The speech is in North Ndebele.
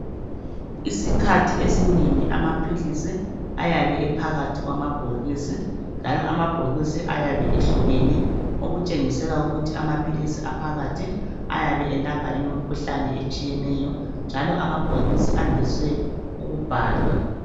Isikhathi esinengi amaphilisi ayabe ephakathi kwamabhokisi. Njalo amabhokisi ayabe ehlukene Okutshengisela ukuthi amaphilisi aphakathi ayabe elapha imikhuhlane etshiyeneyo. Njalo amabhokisi andise ukubhalelwa.